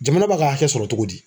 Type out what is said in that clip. Jamana b'a ka hakɛ sɔrɔ togo di